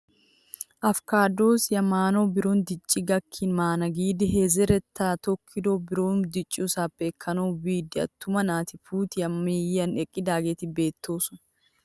Apikaadosiyaa maanawu biron dicci gakkin maana giidi he zerettay tokettido biron dicciyoosappe ekkanawu biida attuma naati puutiyaa miyiyaan eqqidaageti beettoosona!